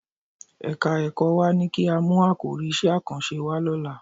Ẹ̀ka-ẹ̀kọ́ wa ní kí á mú àkòrí iṣẹ́ àkànṣe wá lọ́la